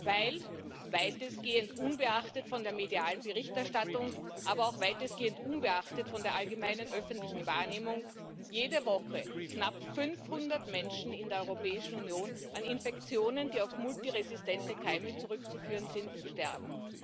Weil weitestgehend unbeachtet von der medialen Berichterstattung, aber auch weitestgehend unbeachtet von der allgemeinen öffentlichen Wahrnehmung jede Woche knapp 500 Menschen in der Europäischen Union an Infektionen, die auf multiresistente Keime zurückzuführen sind, sterben.